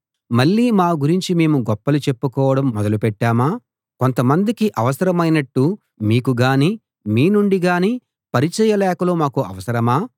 మళ్ళీ మా గురించి మేము గొప్పలు చెప్పుకోవడం మొదలు పెట్టామా కొంతమందికి అవసరమైనట్టు మీకు గానీ మీ నుండి గానీ పరిచయ లేఖలు మాకు అవసరమా